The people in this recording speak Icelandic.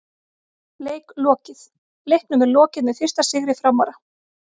Leik lokið: Leiknum er lokið með fyrsta sigri Framara!!